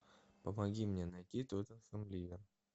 помоги мне найти тоттенхэм ливер